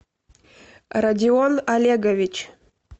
родион олегович